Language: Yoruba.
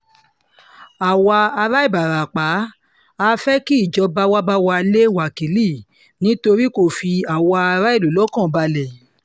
àwa ará ìbarapá a fẹ́ kíjọba wàá bá wa lé wákìlì nítorí kó fi àwa aráàlú lọ́kàn balẹ̀